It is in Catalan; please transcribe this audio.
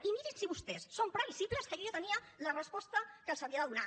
i mirin si vostès són previsibles que jo ja tenia la resposta que els havia de donar